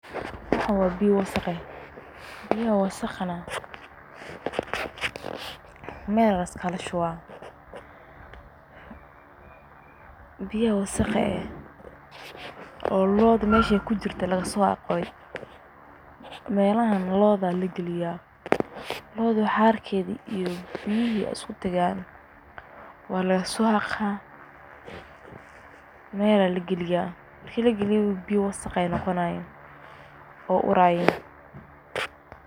Waxan wa biyo wasaq eeh kuwasna waxa meel aya laiskaga shuba, biyo wasaq eeh oo melaha lo'da lagasoshube waye oo lo'da harkeda iyo biyihi iskutage meel aya lagaliya marki lagaliyo wasaq ayey noqonayin.